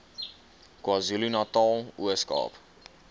kwazulunatal ooskaap